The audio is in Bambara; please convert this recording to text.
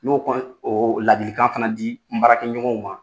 N' y'o kɔni ladilikan fana di n baarakɛ ɲɔgɔnw ma